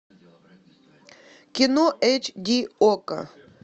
кино эйч ди окко